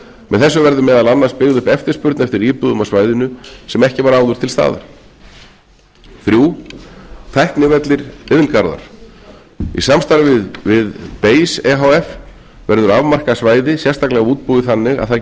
með þessu verður meðal annars byggð upp eftirspurn eftir íbúðum á svæðinu sem ekki var áður til staðar þriðja tæknivellir iðngarðar í samstarfi við base e h f verður afmarkað svæði sérstaklega útbúið þannig að það